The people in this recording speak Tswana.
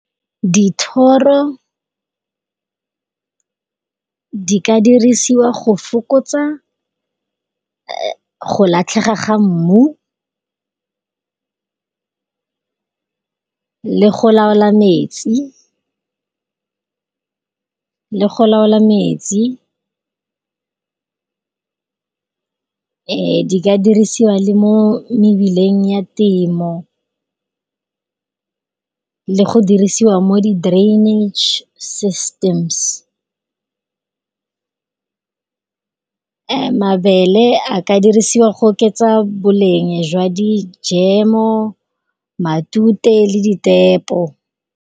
Dithoro, di ka dirisiwa go fokotsa go latlhega ga mmu, le go laola metsi. Di ka dirisiwa le mo mebileng ya temo le go dirisiwa mo di drainage systems. Mabele a ka dirisiwa go oketsa boleng jwa di jemo matute le di tepo.